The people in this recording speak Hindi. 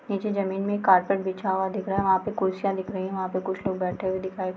निचे जमीन में कारपेट बिछा हुआ दिख रहा है वहां पे कुर्सियां दिख रही है वहां पे कुछ लोग बैठे हुए दिखाई --